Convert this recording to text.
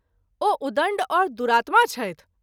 ओ उदण्ड और दुरात्मा छथि।